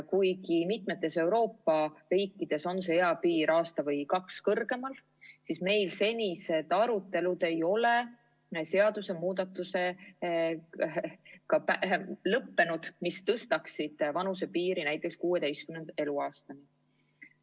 Kuigi mitmes Euroopa riigis on see eapiir aasta või kaks kõrgemal, ei ole meil senised arutelud lõppenud seaduse muutmisega, nii et vanusepiir oleks tõstetud näiteks 16 eluaastani.